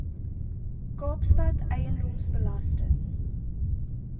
kaapstad eiendoms belasting